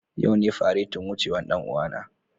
Yau ne faretin wucewan dan uwa.